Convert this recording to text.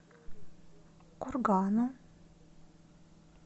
кургану